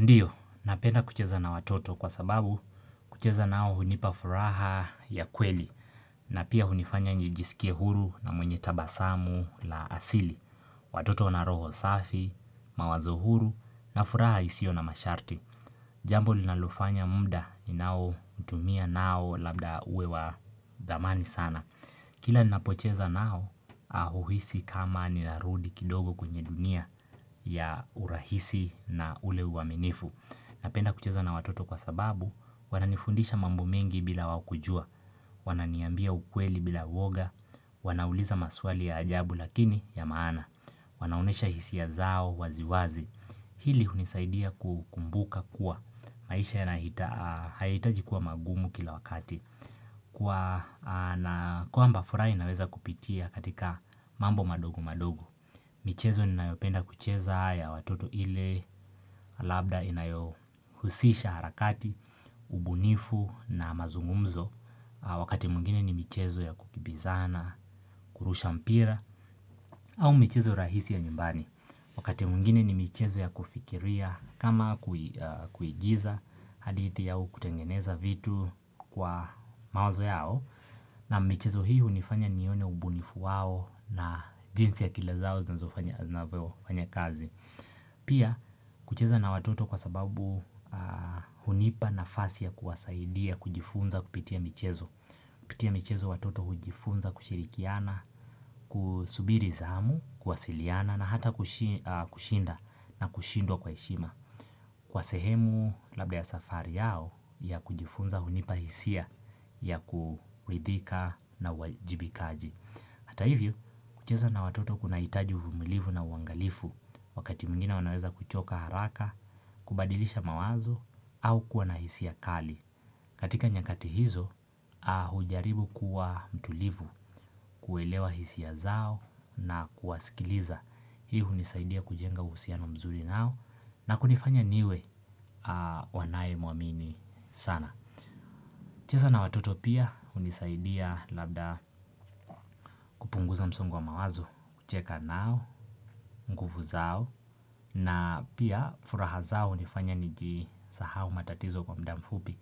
Ndiyo, napenda kucheza na watoto kwa sababu kucheza nao hunipa furaha ya kweli na pia hunifanya njijisikie huru na mwenye tabasamu la asili. Watoto na roho safi, mawazo huru na furaha isio na masharti. Jambo linalofanya muda ninao utumia nao labda uwe wa zamani sana. Kila ninapocheza nao ahuhisi kama ninarudi kidogo kwenye dunia ya urahisi na ule uwaminifu. Napenda kucheza na watoto kwa sababu, wananifundisha mambo mengi bila waokujua, wana niambia ukweli bila uoga, wanauliza maswali ya ajabu lakini ya maana, wanaonesha hisia zao wazi wazi. Hili hunisaidia kumbuka kuwa, maisha ya nahitaji kuwa magumu kila wakati, kwamba fura inaweza kupitia katika mambo madogo madogo. Michezo ninayopenda kucheza ya watoto ile, labda inayohusisha harakati, ubunifu na mazungumzo. Wakati mwingine ni michezo ya kukibizana, kurusha mpira, au michezo rahisi ya nyumbani. Wakati mwingine ni michezo ya kufikiria kama kuigiza hadithi au kutengeneza vitu kwa mawazo yao. Naam michezo hii hunifanya nione ubunifu wao na jinsi ya akili zao zinazofanya anavyo fanya kazi Pia kucheza na watoto kwa sababu hunipa nafasi ya kuwasaidia kujifunza kupitia mchezo pitia mchezo watoto hujifunza kushirikiana, kusubiri zamu, kuwasiliana na hata kushinda na kushindwa kwa heshima Kwa sehemu labda ya safari yao ya kujifunza hunipa hisia ya kuridhika na uwajibikaji Hata hivyo, kucheza na watoto kuna itaji uvumilivu na uangalifu Wakati mwingine wanaweza kuchoka haraka, kubadilisha mawazo au kuwa na hisia kali katika nyakati hizo, hujaribu kuwa mtulivu, kuelewa hisia zao na kuwasikiliza Hii hunisaidia kujenga uhusiano mzuri nao na kunifanya niwe wanaye muamini sana cheza na watoto pia hunisaidia labda kupunguza msongo wa mawazo kucheka nao nguvu zao na pia furaha zao hunifanya nijisahau matatizo kwa mudamfupi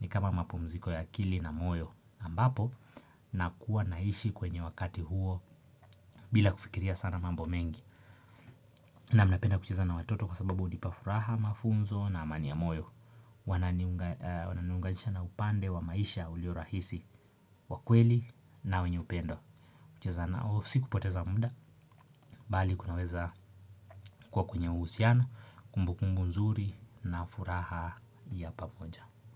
ni kama mapumziko ya kili na moyo ambapo nakuwa naishi kwenye wakati huo bila kufikiria sana mambo mengi Naam napenda kucheza na watoto kwa sababu unipafuraha mafunzo na amani ya moyo Wananiunganisha na upande wa maisha uliorahisi wakweli na wenye upendo Kuchezanao si kupoteza muda Bali kunaweza kwa kwenye uhusiano Kumbukumbu nzuri na furaha ya pamoja.